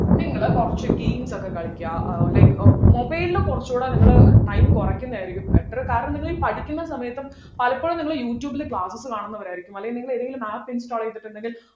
നിങ്ങള് കുറച്ചു games ഒക്കെ കളിക്കാ ഏർ like ഏർ mobile ൽ കുറച്ചുകൂടെ നിങ്ങൾ time കുറയ്ക്കുന്നതായിരിക്കും better കാരണം നിങ്ങളീ പഠിക്കുന്ന സമയത്തും പലപ്പോഴും നിങ്ങൾ യൂട്യൂബിൽ classes കാണുന്നവരായിരിക്കും അല്ലെങ്കിൽ നിങ്ങൾ ഏതേലും app install ചെയ്തിട്ടുണ്ടെങ്കിൽ